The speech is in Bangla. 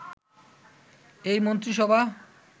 এই মন্ত্রিসভা